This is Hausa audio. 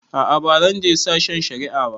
A'a ba zan je sashen shari'a ba.